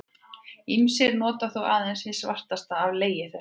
Ýmsir nota þó aðeins hið svartasta af legi þessum.